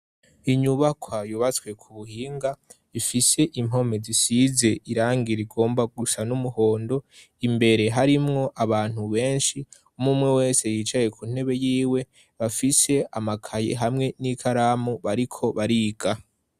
Inyubakwa yubatswe ku buhinga, ifise impome zisize irangi rigomba gusa n'umuhondo. Imbere harimwo abantu benshi, umwe umwe wese yicaye ku ntebe y'iwe, bafise amakaye hamwe n'ikaramu bariko bariga.